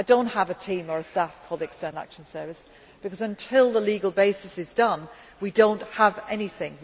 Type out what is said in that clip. all at the moment. I do not have a team or a staff for the External Action Service because, until the legal basis is done, we do